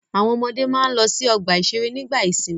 Àwọn ọmọdé máa ń lọ sí ọgbà-ìṣeré nígbà ìsìnmi.